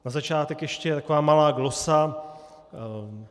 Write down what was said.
Na začátek ještě taková malá glosa.